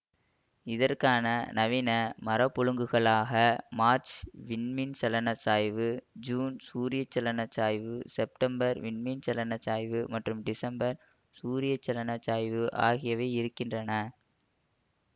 இதற்கான நவீன மரபொழுங்குகளாக மார்ச் வின்மீண்சலனச் சாய்வு ஜுன் சூரியச்சலன சாய்வு செப்டம்பர் வின்மீன்சலனச் சாய்வு மற்றும் டிசம்பர் சூரியச்சலன சாய்வு ஆகியவை இருக்கின்றன